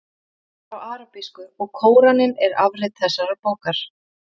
Bókin er á arabísku og Kóraninn er afrit þessarar bókar.